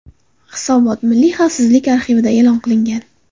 Hisobot Milliy xavfsizlik arxivida e’lon qilingan.